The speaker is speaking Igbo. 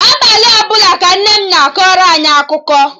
Abalị ọbụla ka Nne m na-akọrọ anyị akụkọ